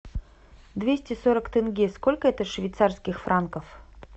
двести сорок тенге сколько это швейцарских франков